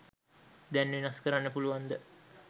දැන් වෙනස් කරන්න පුලුවන් ද?